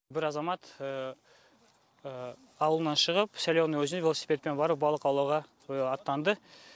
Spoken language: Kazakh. бір азамат ауылынан шығып соленое өзеніне велосипедпен барып балық аулауға аттанды